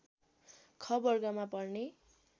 ख वर्गमा पर्ने